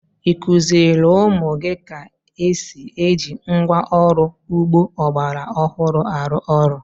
Ị kụziiri ụmụ gị ka esi eji ngwá ọrụ ugbo ọgbara ọhụrụ arụ ọrụ?